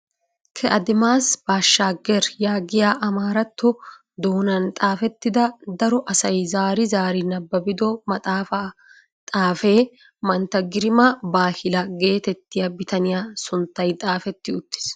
Ke adimaas bashaager yaagiyaa amaaratto doonan xaafettida daro asay zaari zaari nabaabido maxaafaa xaafee mantta girima baahila getettiyaa bitaniyaa sinttay xaafetti uttiis.